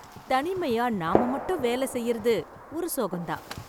தனிமையா நாம மட்டும் வேல செய்யறது ஒரு சுகம் தான்.